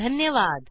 धन्यवाद